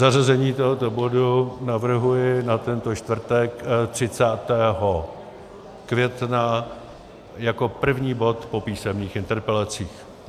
Zařazení tohoto bodu navrhuji na tento čtvrtek 30. května jako první bod po písemných interpelacích.